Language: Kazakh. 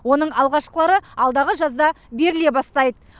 оның алғашқылары алдағы жазда беріле бастайды